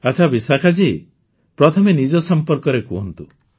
ଆଚ୍ଛା ବିଶାଖା ଜୀ ପ୍ରଥମେ ନିଜ ସମ୍ପର୍କରେ କହନ୍ତୁ